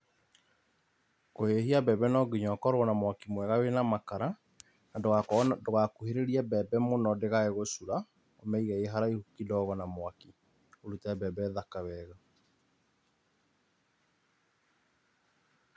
Kũhĩhia mbembe nonginya ũkorwo na mwaki mwega wĩna makara na ndũgakuhĩrĩrie mbembe mũno ndĩkae gũcura, ũmĩige ĩ haraihu kidogo na mwaki, ũrute mbembe thaka wega.